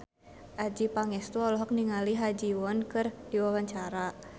Adjie Pangestu olohok ningali Ha Ji Won keur diwawancara